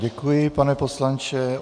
Děkuji, pane poslanče.